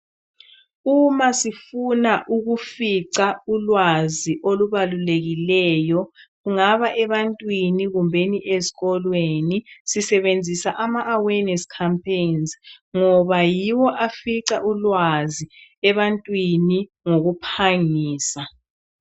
Uma sifuna ukufica ulwazi olubalulekileyo kungaba ebantwini kumbe ezikolweni sisebenzisa amaawareness campaigns ngoba yiwo afica ulwazi ebantwini ngokuphangisa.